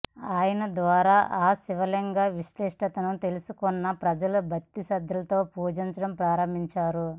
ఆయన ద్వారా ఆ శివలింగం విశిష్టతను తెలుసుకున్న ప్రజలు భక్తి శ్రద్ధలతో పూజించడం ప్రారంభించారు